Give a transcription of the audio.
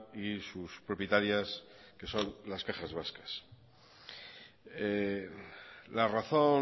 y sus propietarias que son las cajas vascas la razón